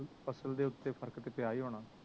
ਫ਼ਸਲ ਦੇ ਉਤੇ ਫਰਕ ਤੇ ਪਿਆ ਹੀ ਹੋਣਾ ਵਾ